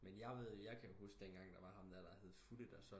Men jeg ved jeg kan huske den gang der var ham der hed Futte der